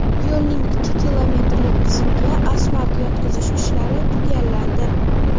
Yo‘lning ikki kilometrlik qismiga asfalt yotqizish ishlari tugallandi.